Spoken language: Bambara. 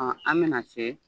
Ɔn an bɛna se